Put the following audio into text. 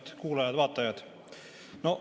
Head kuulajad-vaatajad!